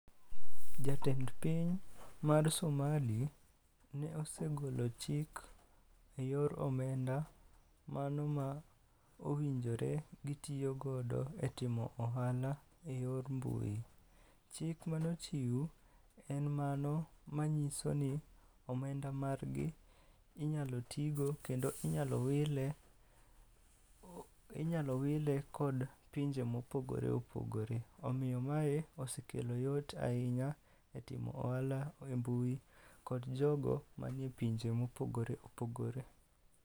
Jatend piny mar Somali ne osegolo chik e yor omenda mano ma owinjore gitiyogodo e timo ohala e yor mbui. Chik manochiw en mano manyiso ni omenda margi inyalo tigo kendo inyalo wile kod pinje mopogore opogore. Omiyo mae osekelo yot ahinya e timo ohala e mbui kod jogo manie pinje mopogore opogore.